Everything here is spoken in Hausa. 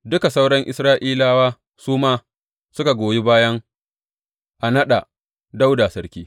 Duka sauran Isra’ilawa su ma suka goyi baya a naɗa Dawuda sarki.